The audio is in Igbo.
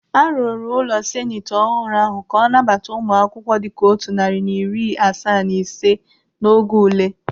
Arụrụ ụlọ seneti ọhụrụ ahụ ka ọ nabata ụmụ akwụkwọ dịka otu narị na iri asaa na ise n'oge ule.